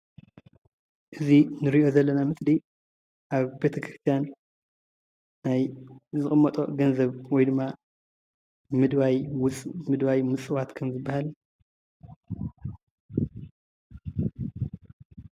እዚ እንሪኦ ዘለና ምስሊ ኣብ ቤተ - ክርስትያን ናይ ዝቅመጦ ገንዘብ ወይ ድማ ምድዋይ ምፅዋት ከም ዝባሃል